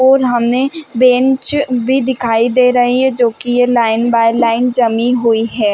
और हमें बेंच भी दिखाई दे रही है जो कि ये लाइन बाय लाइन जमी हुई है।